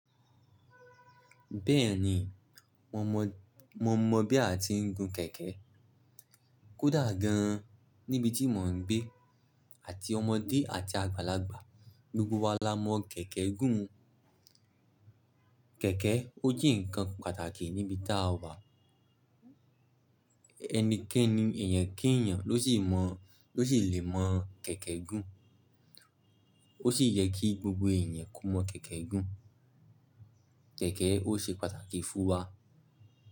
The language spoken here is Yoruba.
Bẹ́ẹ̀ni, mo mọ, mo mọ bí a ti ń gun kẹ̀kẹ́. Kódà gan an níbi tí mò ń gbé àti ọmọdé àti àgbàlagbà, gbogbo wa la mọ kẹ̀kẹ́ gún. Kẹ̀kẹ́, ó je nkan pàtàkì ní ibi táa wà. Ẹnikẹ́ni, eeyàn kí eeyàn ló sì mọ̀, ló sì lè mọ̀ kẹ̀kẹ́ gún. Ó sì yẹ kí gbogbo eeyàn ko mọ̀ kẹ̀kẹ́ gún. Kẹ̀kẹ́ ó ṣe pàtàkì fún wa.